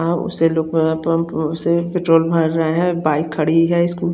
bike खड़ी है scooty --